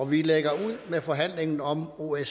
vi lægger ud med forhandlingen om osce